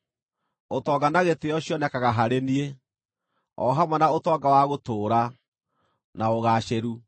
Ũtonga na gĩtĩĩo cionekaga harĩ niĩ, o hamwe na ũtonga wa gũtũũra, na ũgaacĩru.